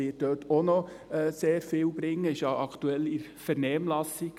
REVOS wird dort auch noch sehr viel bringen und ist ja aktuell in der Vernehmlassung.